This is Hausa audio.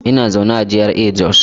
Ina zaune a GRA Jos.